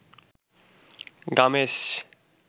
গামেস